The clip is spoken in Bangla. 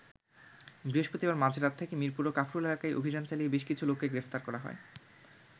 বৃহস্পতিবার মাঝরাত থেকে মিরপুর ও কাফরুল এলাকায় অভিযান চালিয়ে বেশ কিছু লোককে গ্রেফতার করা হয়।